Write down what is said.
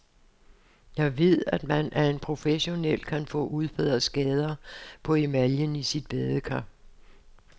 Jeg ved, at man, af en professionel, kan få udbedret skader på emaljen i sit badekar.